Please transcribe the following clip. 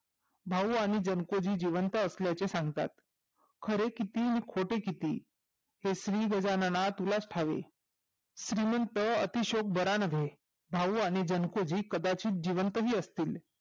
भाऊ आणि जनतेजी जिवंत असल्याची सांगतात खरे किती आणि खोटे किती हे श्री गजानना तुलाच ठावे श्रीमंत अति शोक बरा नव्हे भाऊ आणि जाणतेजी कदाचित जिवंत असतील